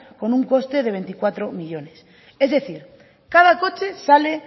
con un coste de veinticuatro millónes es decir cada coche sale